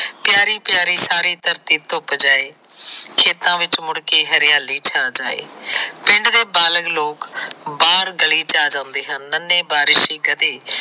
ਪਿਆਰੇ ਪਿਆਰੇ ਸਾਰੀ ਧਰਤੀ ਧੁੰਪ ਜਾਂਏ ਖੇਤਾ ਵਿੱਚ ਮੁੜ ਕੇ ਹਰਿਆਲੀ ਛਾ ਜਾਏ ਪਿੰਡ ਦੇ ਬਾਲਗ ਲੋਕ ਬਾਹਰ ਗਲੀ ਚ ਆ ਜਾਂਦੇ ਹਨ ਨਨੇ ਬਾਰਿਸ਼ ਕਦੇ